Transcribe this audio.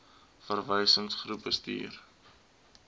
oba verwysingsgroep gestuur